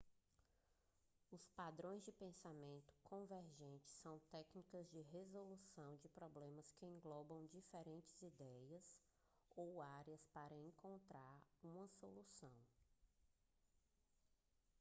os padrões de pensamento convergente são técnicas de resolução de problemas que englobam diferentes ideias ou áreas para encontrar uma solução